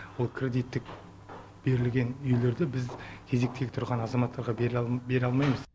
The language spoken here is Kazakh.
ол кредиттік берілген үйлерді біз кезектегі тұрған азаматтарға бере алмаймыз